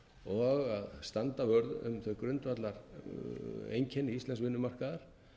og að standa vörð um þau grundvallareinkenni íslensk vinnumarkaðar